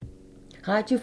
Radio 4